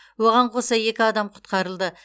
оған қоса екі адам құтқарылды